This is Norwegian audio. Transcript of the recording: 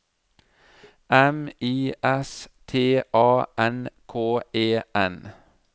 M I S T A N K E N